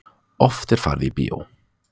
Oft er farið í bíó.